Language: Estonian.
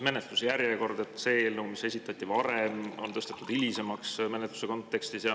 Menetluse järjekord on nii, et see eelnõu, mis esitati varem, on tõstetud hilisemaks.